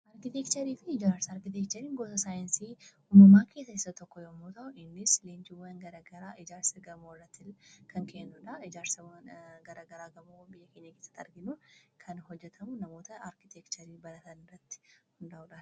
Arkiteekcharii fi ijaarsa arkiteekchariin gosa saayinsii uumamaa keessaa isa tokko yommuu ta'u innis leenjiwwan garagaraa ijaarsi gamoo irratti kan kennudha. Ijaarsi garagaraa gamoo biyya keenya keessatti arginu kan hojatamu namoota arkiteekcharii baratan irratti hundaa'uudha.